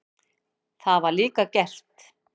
Það var líka gert.